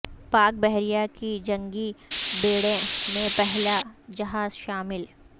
پاک بحریہ کے جنگی بیڑے میں پہلا جہاز شامل